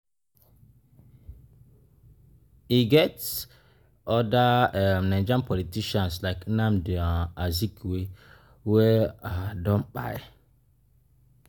E get oda um Nigerian politicians like Nnamdi um Azikiwe wey um don kpai